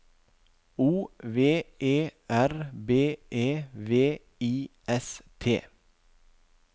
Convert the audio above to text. O V E R B E V I S T